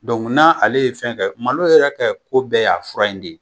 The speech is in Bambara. n'a ale ye fɛn kɛ malo yɛrɛ kɛ ko bɛɛ y'a fura in de ye